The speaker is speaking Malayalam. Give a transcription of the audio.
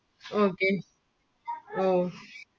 okay okay